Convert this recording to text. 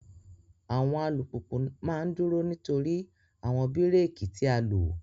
Awọn alupupu ma ń duro nitori awọn bireki ti a loo